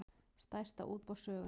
Stærsta útboð sögunnar